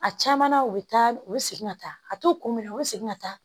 A caman na u bɛ taa u bɛ segin ka taa a t'u kun minɛ u bɛ segin ka taa